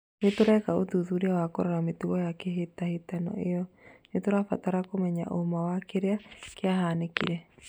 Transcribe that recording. Nĩtũrĩkia ũthuthuria wa kũrora mĩtugo ya hĩtahĩtano ĩyo, nĩtũrabatara kũmenya ũũma wa kĩrĩa kĩahanĩkire